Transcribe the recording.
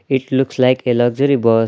It looks like a luxury bus.